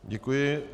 Děkuji.